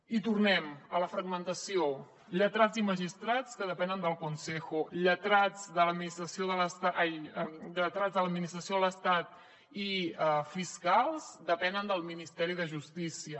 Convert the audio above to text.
i tornem a la fragmentació lletrats i magistrats que depenen del consejo lletrats de l’administració de l’estat i fiscals depenen del ministeri de justícia